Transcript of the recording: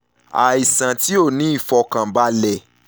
aisan ti o ni ifọkanbalẹ